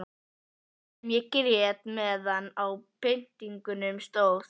Mikið sem ég grét meðan á pyntingunum stóð.